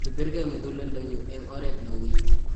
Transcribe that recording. kibirgei muguleldonyu eng' oret ne ui